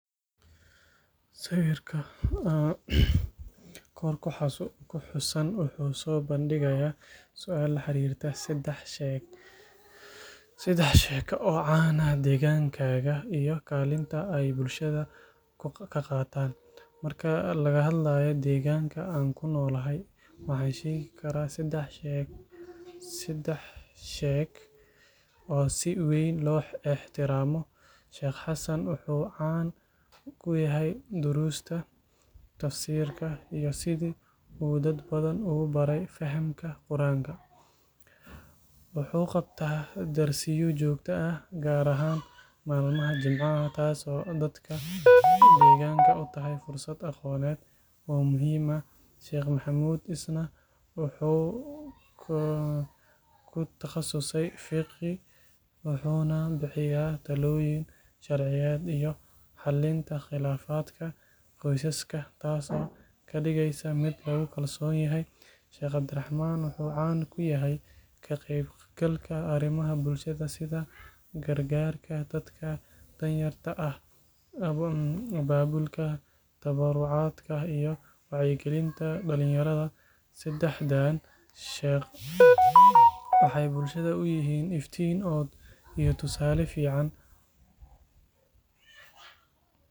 Sawirka kor ku xusan wuxuu soo bandhigayaa su'aal la xiriirta saddex sheekh oo caan ah deegaankaaga iyo kaalinta ay bulshada ka qaataan. Marka laga hadlayo deegaanka aan ku noolahay, waxaan sheegi karaa sadex sheekh oo si weyn loo ixtiraamo. Sheikh Xasan wuxuu caan ku yahay duruusta Tafsiirka iyo sidii uu dad badan ugu baray fahamka Qur'aanka. Wuxuu qabtaa darsiyo joogto ah, gaar ahaan maalmaha Jimcaha, taas oo dadka deegaanka u tahay fursad aqooneed oo muhiim ah. Sheikh Maxamuud isna wuxuu ku takhasusay Fiqh wuxuuna bixiyaa talooyin sharciyeed iyo xalinta khilaafaadka qoysaska, taasoo ka dhigaysa mid lagu kalsoon yahay. Sheikh Cabdiraxmaan wuxuu caan ku yahay ka qaybgalka arrimaha bulshada sida gargaarka dadka danyarta ah, abaabulka tabarucaadka iyo wacyigelinta dhalinyarada. Saddexdaan sheekh waxay bulshada u yihiin iftiin iyo tusaale fiican.